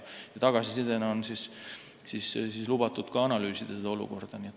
Tagasisidena on lubatud seda olukorda analüüsida.